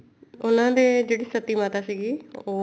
ਉਹਨਾ ਦੇ ਜਿਹੜੀ ਸਤੀ ਮਾਤਾ ਸੀਗੀ